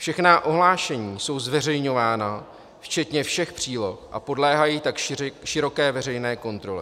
Všechna ohlášení jsou zveřejňována včetně všech příloh a podléhají tak široké veřejné kontrole.